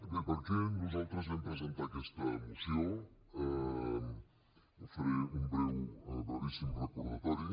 bé per què nosaltres vam presentar aquesta moció en faré un breu brevíssim recordatori